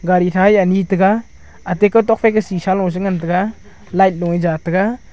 gari thae ani tega ate ka tok faika shisha lo chengan taiga light loe ja taiga.